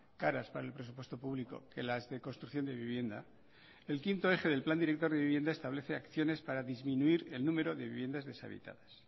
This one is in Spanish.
caras para el presupuesto público que las de construcción de vivienda el quinto eje del plan director de vivienda establece acciones para disminuir el número de viviendas deshabitadas